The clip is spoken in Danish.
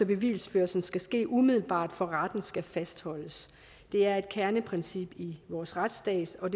bevisførelsen skal ske umiddelbart for retten skal fastholdes det er et kerneprincip i vores retsstat og